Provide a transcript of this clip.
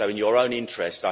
So in your own interest.